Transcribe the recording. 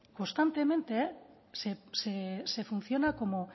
constantemente se funciona como